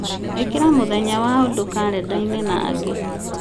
ĩkĩra mũthenya wa ũndũ karenda-inĩ na angĩ